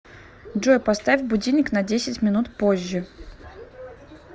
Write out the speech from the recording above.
джой поставь будильник на десять минут позже